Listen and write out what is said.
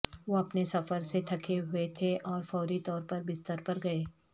وہ اپنے سفر سے تھکے ہوئے تھے اور فوری طور پر بستر پر گئے